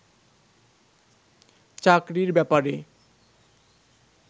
চাকরির ব্যাপারে